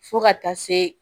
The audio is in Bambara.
Fo ka taa se